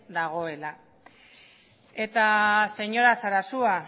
dagoela eta señora sarasua